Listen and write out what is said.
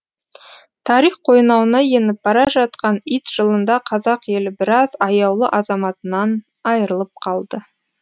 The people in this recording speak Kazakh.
тарих қойнауына еніп бара жатқан ит жылында қазақ елі біраз аяулы азаматынан айырылып қалды